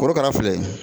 Korokara filɛ